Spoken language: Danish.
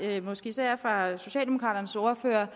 vi måske især fra socialdemokraternes ordfører har